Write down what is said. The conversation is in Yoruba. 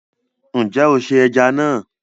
Nje o se eja na